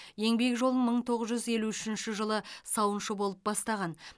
еңбек жолын мың тоғыз жүз елу үшінші жылы сауыншы болып бастаған